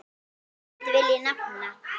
Tvennt vil ég nefna.